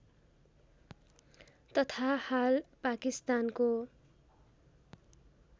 तथा हाल पाकिस्तानको